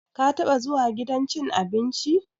Ka taba zuwa gidan cin abinci?